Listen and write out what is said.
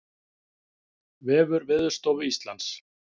Vefur Veðurstofu Íslands